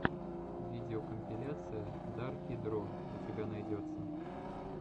видеокомпиляция дарки дро у тебя найдется